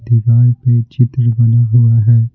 दीवार पे चित्र बना हुआ है।